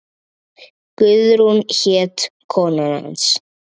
Guðrún hét kona hans.